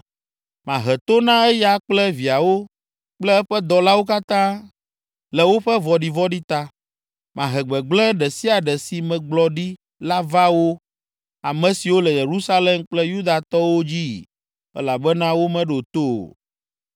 Mahe to na eya kple viawo kple eƒe dɔlawo katã le woƒe vɔ̃ɖivɔ̃ɖi ta. Mahe gbegblẽ ɖe sia ɖe si megblɔ ɖi la va wo, ame siwo le Yerusalem kple Yudatɔwo dzii, elabena womeɖo to o.’ ”